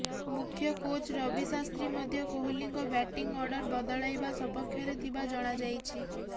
ମୁଖ୍ୟ କୋଚ୍ ରବି ଶାସ୍ତ୍ରୀ ମଧ୍ୟ କୋହଲିଙ୍କ ବ୍ୟାଟିଂ ଅର୍ଡର ବଦଳାଇବା ସପକ୍ଷରେ ଥିବା ଜଣାଯାଇଛି